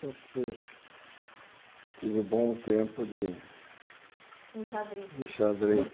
Sempre fui tive um bom tempo de... Em xadrez. De xadrez